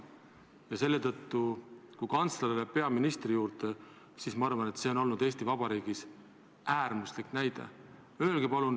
Kui kantsler selle tõttu läks peaministri juurde, siis ma arvan, et see oli Eesti Vabariigis äärmuslik näide.